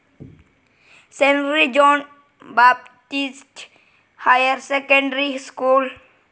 cent John Baptist higher secondary school